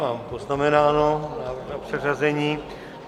Mám poznamenáno, návrh na předřazení.